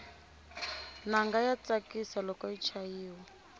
nanga ya tsakisa loko yi chayiwa